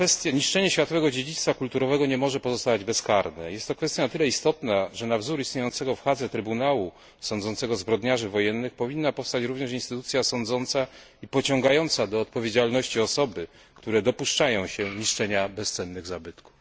Niszczenie światowego dziedzictwa kulturowego nie może pozostawać bezkarne. Jest to kwestia na tyle istotna, że na wzór istniejącego w Hadze trybunału sądzącego zbrodniarzy wojennych, powinna powstać również instytucja sądząca i pociągająca do odpowiedzialności osoby, które dopuszczają się niszczenia bezcennych zabytków.